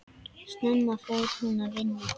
Snemma fór hún að vinna.